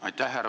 Aitäh!